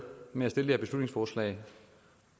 med det her beslutningsforslag